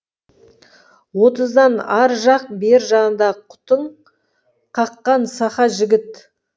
отыздың ар жақ бер жағындағы қутың қаққан сақа жігіт